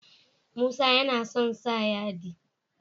Musa yAna son sa yadi